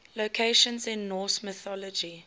locations in norse mythology